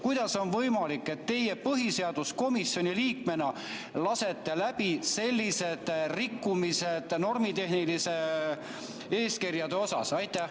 Kuidas on võimalik, et teie põhiseaduskomisjoni liikmena lasete läbi sellised normitehnilise eeskirja rikkumised?